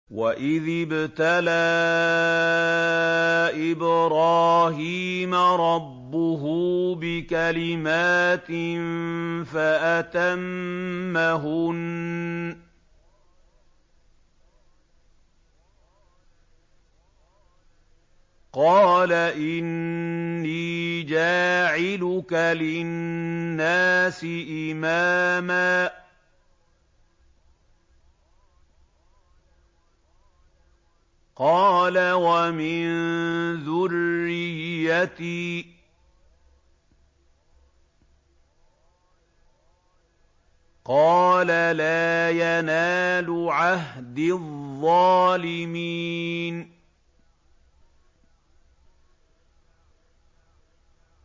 ۞ وَإِذِ ابْتَلَىٰ إِبْرَاهِيمَ رَبُّهُ بِكَلِمَاتٍ فَأَتَمَّهُنَّ ۖ قَالَ إِنِّي جَاعِلُكَ لِلنَّاسِ إِمَامًا ۖ قَالَ وَمِن ذُرِّيَّتِي ۖ قَالَ لَا يَنَالُ عَهْدِي الظَّالِمِينَ